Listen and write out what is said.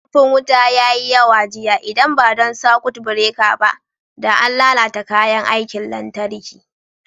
Ƙarfin wuta ya yi yawa jiya, idan ba don sakut bireka ba, da an lalata kayan aikin lantarki.